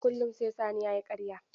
Kullum sai Sani ya yi ƙarya.